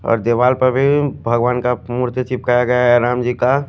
और दीवार पर भी भगवान का मूर्ति चिपकाया गया है राम जी का--